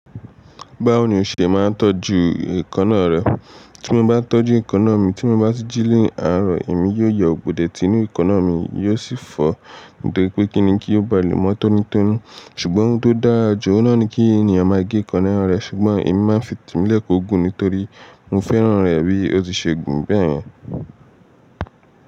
Báwo ni o ṣe máa ń tọ́jú èkan náà rẹ? Tí mo bá tọ́jú èkan náà mi, tí mo bá ti jí lé ààrọ̀, èmi yóò yọ́ àgbòdẹ tí inú èkó náà mi, yóò sì fọ̀, dípé kíni kí ó ba lè mọ́ tọ́nú tọ́nú. Ṣùgbọ́n ohun tó dára jù oun na ni kí ènìyàn máa gé èkan náà rẹ̀, ṣùgbọ́n èmi máa ń fi te mi silẹ̀ kó ó gùn nítorí mo fẹ́ràn rẹ̀ bí ó ti ṣe gùn bẹ́ẹ̀ yẹn.